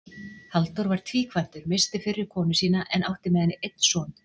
Halldór var tvíkvæntur, missti fyrri konu sína en átti með henni einn son.